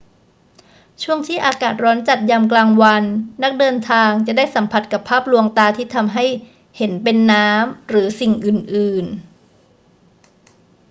ในช่วงที่อากาศร้อนจัดยามกลางวัน นักเดินทางจะได้สัมผัสกับภาพลวงตาที่ทำให้เห็นเป็นน้ำ หรือสิ่งอื่น ๆ